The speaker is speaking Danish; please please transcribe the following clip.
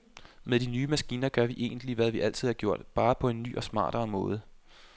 Med de nye maskiner gør vi egentlig, hvad vi altid har gjort, bare på en ny og smartere måde.